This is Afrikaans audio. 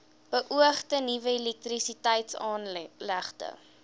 beoogde nuwe elektrisiteitsaanlegte